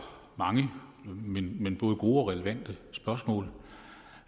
mange men men både gode og relevante spørgsmål